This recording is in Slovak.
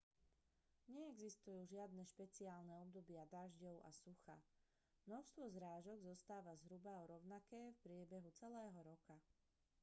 neexistujú žiadne špeciálne obdobia dažďov a sucha množstvo zrážok zostáva zhruba rovnaké v priebehu celého roka